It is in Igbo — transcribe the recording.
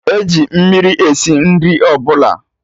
Eji mmiri esi nri ọbụla